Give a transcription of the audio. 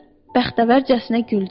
Bəxtəvərcəsinə güldü.